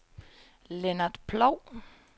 Lennart Ploug